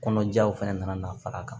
Kɔnɔjaw fɛnɛ nana far'a kan